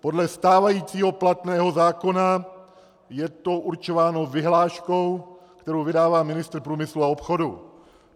Podle stávajícího platného zákona je to určováno vyhláškou, kterou vydává ministr průmyslu a obchodu.